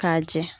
K'a jɛ